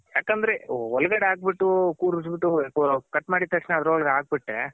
ಯಾಕಂದ್ರೆ ಒಳ್ಗಡೆ ಹಾಕ್ ಬಿಟ್ಟು ಕೂರುಸ್ ಬಿಟ್ಟು ಕಟ್ ಮಾಡಿದ್ ತಕ್ಷಣ ಅದರ್ ಒಳಗೆ ಹಾಕ್ ಬಿಟ್ರೆ